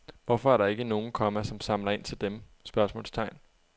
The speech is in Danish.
Hvorfor er der ikke nogen, komma som samler ind til dem? spørgsmålstegn